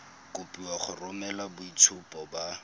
kopiwa go romela boitshupo ba